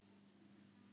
Hef heyrt orð þín áður.